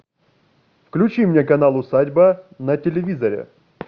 включи мне канал усадьба на телевизоре